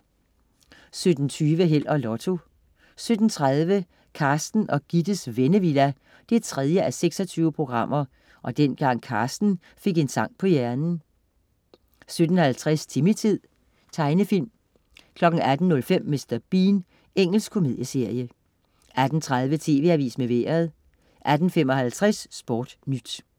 17.20 Held og Lotto 17.30 Carsten og Gittes Vennevilla 3:26 og dengang Carsten fik en sang på hjernen 17.50 Timmy-tid. Tegenfilm 18.05 Mr. Bean. Engelsk komedieserie 18.30 TV AVISEN med Vejret 18.55 SportNyt